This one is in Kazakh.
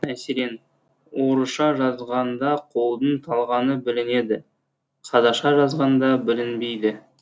мәселен орысша жазғанда қолдың талғаны білінеді қазақша жазғанда білінбейді